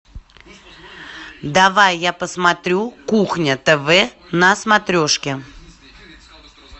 давай я посмотрю кухня тв на смотрешке